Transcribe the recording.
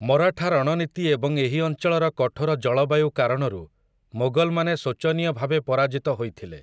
ମରାଠା ରଣନୀତି ଏବଂ ଏହି ଅଞ୍ଚଳର କଠୋର ଜଳବାୟୁ କାରଣରୁ ମୋଗଲମାନେ ଶୋଚନୀୟ ଭାବେ ପରାଜିତ ହୋଇଥିଲେ ।